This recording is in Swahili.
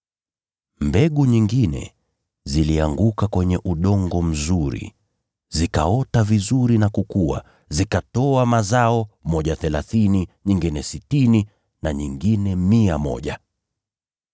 Mbegu nyingine zilianguka kwenye udongo mzuri, zikaota vizuri na kukua, zikatoa mazao, moja mara thelathini, nyingine mara sitini, na nyingine mara mia moja.”